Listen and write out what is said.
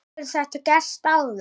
Hefur þetta gerst áður?